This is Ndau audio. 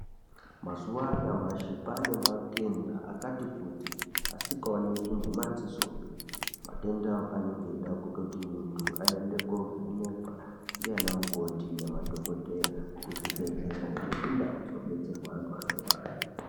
Mazuwa anyamashi kwane matenda akati kuti asikaoneki ngemadzisopi. Matenda aya anenge eida kuti muntu aende kovhenekwa ndiana mukoti nemadhokodheya kuzvibhehlera nekundau dzinobetserwa antu anorwara.